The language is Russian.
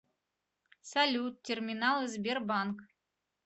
салют терминалы сбербанк